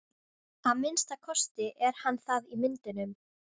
Að minnsta kosti er hann það í myndunum.